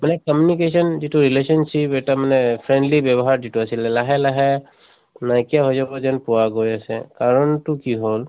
মানে communication যিটো relationship এটা মানে friendly ব্য়ৱহাৰ যিটো আছিলে, লাহে লাহে নাইকিয়া হৈ যাব যেন পোৱা গৈ আছে। কাৰণ টো কি হʼল